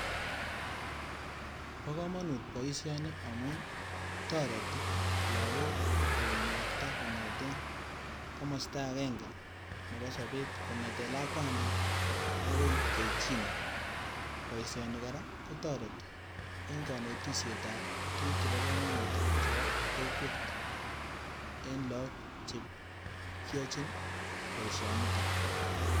Bo komonut boishoni amun toreti lokok konakta kongeten komosto agenge nebo sobet kongeten lakwantit akoi keik chii neo, boishoni koraa kotoreti en konetishet ab tukuk chebo komonut chebo kokwet en lok chekiyochin boisshonitok.